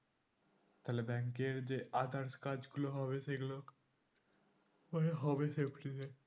তাহলে bank এর যে others কাজ গুলো হবে সেগুলো পরে হবে safety তে